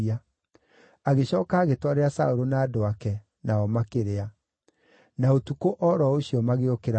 Agĩcooka agĩtwarĩra Saũlũ na andũ ake, nao makĩrĩa. Na ũtukũ o ro ũcio magĩũkĩra magĩthiĩ.